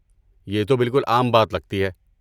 یہ تو بالکل عام بات لگتی ہے۔